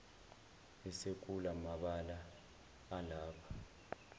esekula mabala alapha